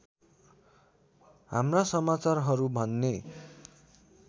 हाम्रा समाचारहरू भन्ने